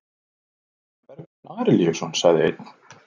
Hvað með Bergsvein Arilíusson, sagði einn?